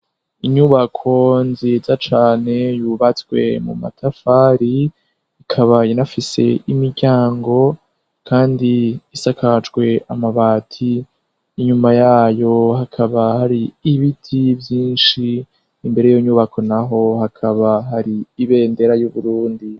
Inyubako nziza cane yubatswe mu matafari, ikaba inafise imiryango, kandi isakajwe amabati Inyuma yayo hakaba hari ibiti vyinshi. Imbere yiyo nyubako naho hakaba hari ibendera y'Uburundi.